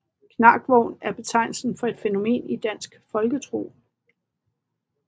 Knarkvogn er betegnelsen for et fænomen i dansk folketro